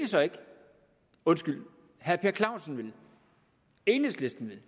så ikke undskyld herre per clausen vil enhedslisten